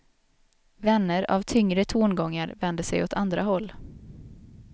Vänner av tyngre tongångar vänder sig åt andra håll.